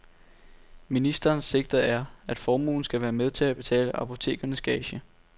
Ministerens sigte er, at formuen skal være med til at betale apotekernes gage.